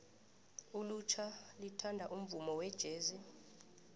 ilutjha lithanda umvumo wejesi